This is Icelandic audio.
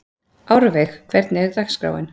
Árveig, hvernig er dagskráin?